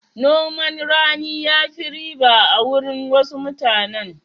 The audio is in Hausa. Noman rani ya fi riba a wurin wasu mutanen.